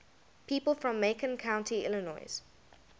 people from macon county illinois